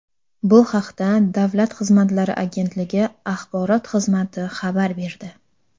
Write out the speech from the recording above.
Bu haqda Davlat xizmatlari agentligi axborot xizmati xabar berdi .